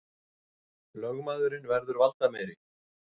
Lögmaðurinn verður valdameiri